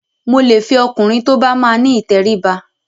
Mo lè fẹ ọkùnrin tó bá máa ni ìtẹríba.